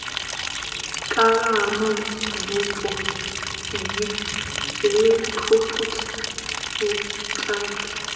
kavha ha mabupo dzihelikhophutha vhatambi